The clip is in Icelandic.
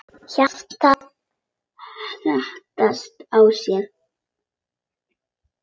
Hjartað herti á sér.